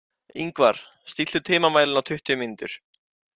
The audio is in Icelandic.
Yngvar, stilltu tímamælinn á tuttugu mínútur.